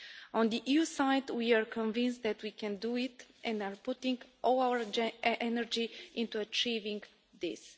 On the EU side, we are convinced that we can do it, and are putting all our energy into achieving this.